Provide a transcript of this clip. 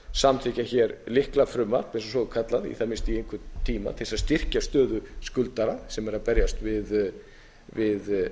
samþykkja lyklafrumvarp svokallað í það minnsta í einhvern tíma til að styrkja stöðu skuldara sem eru að berjast við